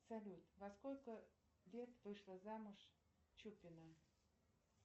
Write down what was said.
салют во сколько лет вышла замуж чупина